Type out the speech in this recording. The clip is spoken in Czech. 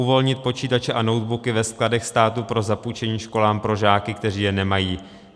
Uvolnit počítače a notebooky ve skladech státu pro zapůjčení školám pro žáky, kteří je nemají.